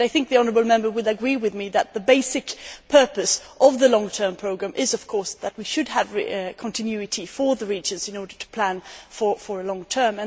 I think the honourable Member would agree with me that the basic purpose of the long term programme is, of course, that we should have continuity for the regions in order to plan for the long term.